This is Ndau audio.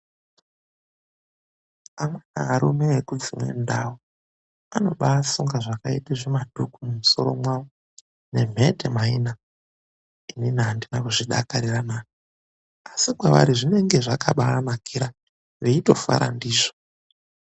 Amweni arume ekudzimwe ndau, anobaasunga zvakaita zvimadhuku mumusoro mwawo, nemphete maina, inini andina kuzvidakarira naa. Asi kwevari zvinenge zvakabaavanakira, veitofara ndizvo.